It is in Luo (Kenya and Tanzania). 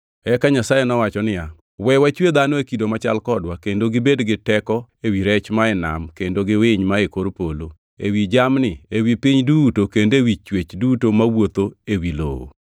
Eka Nyasaye nowacho niya, “We wachwe dhano e kido machal kodwa kendo gibed gi teko ewi rech mae nam kendo gi winy mae kor polo, ewi jamni, ewi piny duto kendo ewi chwech duto mawuotho ewi lowo.”